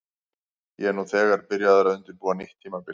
Ég er nú þegar byrjaður að undirbúa nýtt tímabil.